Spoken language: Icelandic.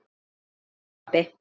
Hvað segir þú pabbi?